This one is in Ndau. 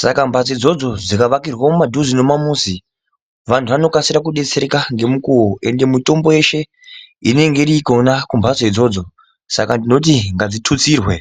Saka mbatso idzodzo dzikaakirwa muduze nemumamizi vantu vanokasira kudetsereka ngemukuwo endi mitombo yeshe inenge iri kona kumbatso idzodzo saka tinoti ngadzitutsirwe.